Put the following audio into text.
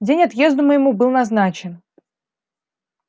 день отъезду моему был назначен